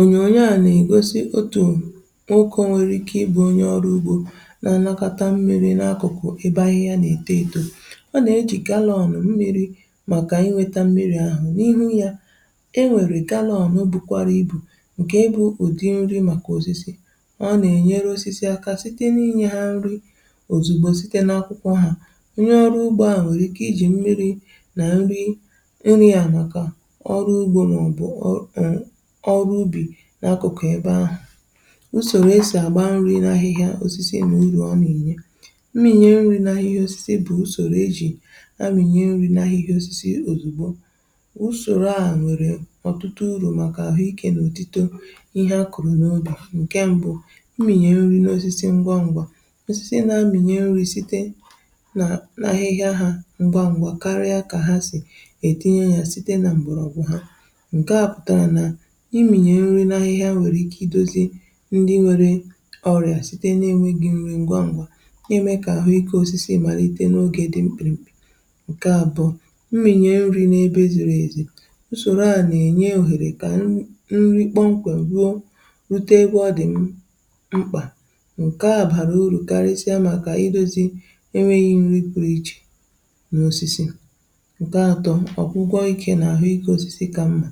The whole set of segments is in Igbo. Ònyòònyo a nà-ègosi, um, otù n’ukȯ nwere ike ịbụ onye ọrụ ugbȯ na-anàkọ̀ta mmiri̇ n’akụ̀kụ̀ ebe ahụ̀? Ya nà-ète edo, ọ nà-ejìkàla ọ nọ̀ mmiri maka inweta mmiri̇ ahụ̀ n’ihu ya..E nwèrè gàla ọrụ ugbȯkwara ibù, um, ǹkè ịbụ̇ ùdị nri̇ màkà osisi. Ọ nà-ènyere osisi aka site n’inyė ha nri̇ òzùgbo site n’akwụkwọ ha. um Onye ọrụ ugbȯ a nwèrè ike ijì, um, mmiri̇ nà nri̇ ịrị a màkà ọrụ ugbȯ nà ọbụ̀ usorȯ esi àgba nri̇ n’ahịhịa osisi n’ụlọ̀. Ọmị̀nyè mmị̀nyè nri̇ n’ahịhịa osisi bụ̀ usorȯ um e jì amị̀nyè nri̇ n’ahịhịa osisi òzùgbo. Usorȯ ahụ̀ nwèrè ọ̀tụtụ uru̇, um, màkà àhụ ike n’òtùtù ihe akọ̀rọ̀ n’ubì. Ǹke mbụ̇, mmị̀nyè nri̇ n’osisi ngwa n’gbà um osisi na-amị̀nyè nri̇ site n’ahịhịa hȧ ngwa ngwa, karịa kà ha sì ètinye yà site nà m̀gbèrọ̀. Ọ̀bụ̀ ha ndi nwere ọrịà site na-enweghi nri̇ ngwa ngwa, na-eme kà àhụ ike osisi màlite, um, n’oge dị mkpirikpi. Ǹkè a bụ̀ mmịnye nri̇ n’ebe zìrì èzì usorȯ a nà-ènye òhèrè kà nri̇ kpọmkwem ruo rute, um, egwu. Ọ dị̀ mkpà, ǹke a bàrà urù karịsịa màkà idȯzi̇ enweghi̇ nri̇ kwùrù iche nà osisi. (um)Ǹke atọ̇, ọgwụgwọ ikė nà àhụ ike osisi ka mma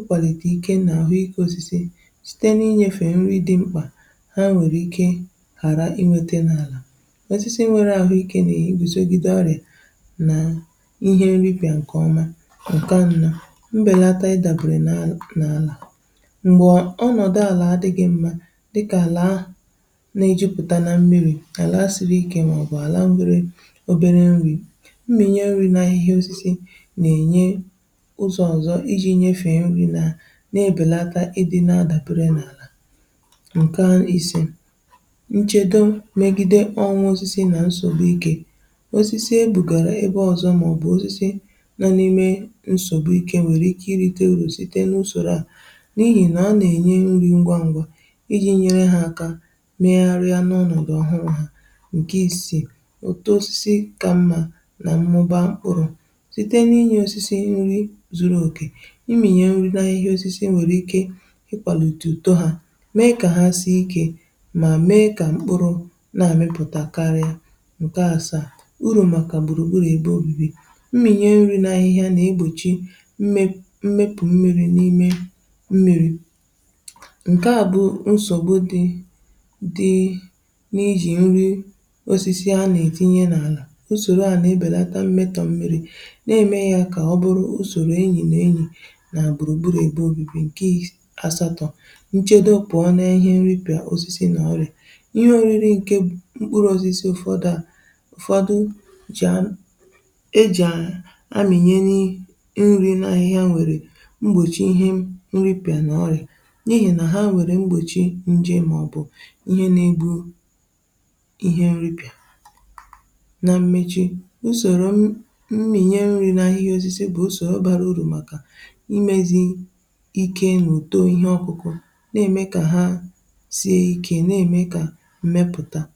ịkwàlìtè ike nà àhụ ika osisi site n’inyèfè nri̇ dị mkpà ha nwèrè ike ghàra inweta n’àlà. Osisi nwere àhụ ike nè igùsogide ọrị̀à nà ihe nri̇ pìa, ǹkèọma. Ǹke anọ̇, mbèlata idàbèrè n’àlà um mgbe ọnọ̀dụ̀ àlà adịghị mma, dịkà àlà na-ijupụ̀ta nà mmiri̇, nàlà asịrị ike, màọbụ̀ àlà nwere obere nri̇ mmiri̇, um Ihe osisi na-ebèlata ịdị̇ na-adàbère n’àlà. Ǹke à n’isė, nchedo mmègide onwe osisi nà nsògbu ikė osisi ebùgàrà ebe ọ̀zọ̀ màọ̀bụ̀ osisi nọ n’ime nsògbu ikė, um, nwèrè ike irite uru̇ site n’usorȯ a... N’ihì nà a nà-ènye nri̇ ngwa ngwa iji̇ nyere ha aka megharịa n’ọnọ̀dụ̀ ọhụrụ̇ hā. Ǹke isi̇, ụ̀tụ osisi ka mma nà mmụba ụrụ̇ um imìnye nri̇ n’ahịhịa osisi nwèrè ike ịkwàlìtù ùto ha, mee kà ha sie ike, mà mee kà mkpụrụ̇ na-amịpụ̀takarị. Ǹkè a, um, saa uru̇ màkà gbùrùgbùrù ebe òbibi. Mmìnye nri̇ n’ahịhịa nà egbòchi mmepù mmiri̇ n’ime mmiri̇ um ǹke a bụ nsògbu dị dị n’ijì nri̇ osisi. A nà-ètinye n’àlà, usorȯ a na-ebèlata mmetọ̀ mmiri̇, na-eme ya kà ọ bụrụ nà gbùrùgbùrù ebe ogi gị̇ àsatọ̇. Nchedo pụ̀ọ n’ihe nri̇ pị̀a osisi nà ọrị̀ ihe ọrịrị um ǹkè mkpụrụ̇ osisi ụ̀fọdụ à ụ̀fọdụ jà m ejàà amị̀nyenye nri̇ n’ahịhịa nwèrè mgbòchi ihe nri̇ pị̀a nà ọrị̀ n’ehì. Ha nwèrè mgbòchi nje màọbụ̀ ihe nà-egbu ihe nri̇ pị̀a. Na mmechi, um, usorȯ mmị̀nye nri̇ n’ahịhịa osisi bụ̀ ike n’uto ihe ọkụkụ na-eme kà ha sie ike, na-eme kà mmepụta bawaa.